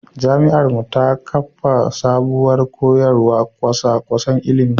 Jami’ar mu ta kafa sabuwar koyarwar kwasa-kwasan ilimi.